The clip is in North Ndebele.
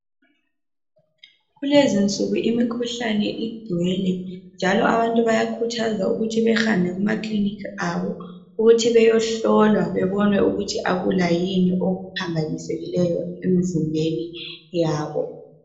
Kulezi insuku imikhuhlane ingcwele njalo abantu bayakhuthazwa ukuthi behambe kuma kiliniki wabo ukuthi beyehlolwa bebone ukuthi akukho yini okuphambanisekileyo emzimbeni yabo